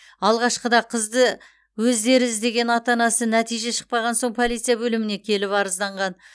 алғашқыда қызды өздері іздеген ата анасы нәтиже шықпаған соң полиция бөліміне келіп арызданған